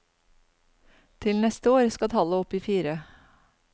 Til neste år skal tallet opp i fire.